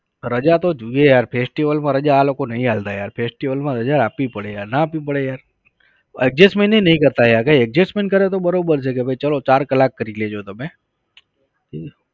રજા તો જુવે યાર festival માં રજા આ લોકો નઈ આલતા યાર festival માં રજા આપવી પડે યાર ના આપવી પડે યાર? adjustment એય નઈ કરતા યાર કઈક adjustment કરે તો બરોબર છે કે ભાઈ ચલો ચાર કલાક કરી લઈએ તમે